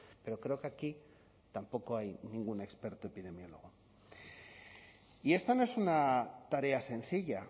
pero creo que aquí tampoco hay ningún experto epidemiólogo y esta no es una tarea sencilla